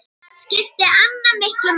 Þar skipti Anna miklu máli.